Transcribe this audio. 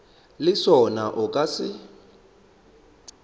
le sona o ka se